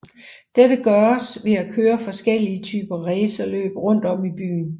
Dette gøres ved at køre forskellige typer racerløb rundt om i byen